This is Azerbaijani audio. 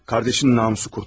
Qardaşının namusu qurtuldu.